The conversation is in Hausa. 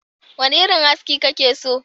Wane irin aski kake so?